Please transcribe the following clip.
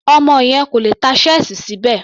Ọmọ yẹn kò lè tá ṣẹ́ẹ̀sì síbẹ̀.